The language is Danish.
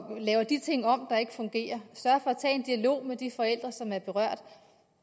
laver de ting om der ikke fungerer og med de forældre som er berørt